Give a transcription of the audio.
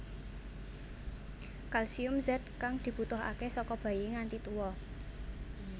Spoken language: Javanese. Kalsium zat kang dibutuhaké saka bayi nganti tuwa